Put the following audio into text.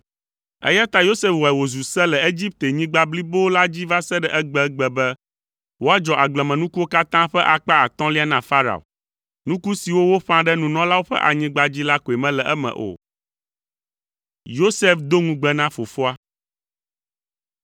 Eya ta Yosef wɔe wòzu se le Egiptenyigba blibo la dzi va se ɖe egbegbe be woadzɔ agblemenukuwo katã ƒe akpa atɔ̃lia na Farao. Nuku siwo woƒã ɖe nunɔlawo ƒe anyigba dzi la koe mele eme o.